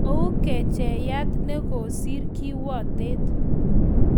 ' Kou '' kachaet nekosir kiwotet.''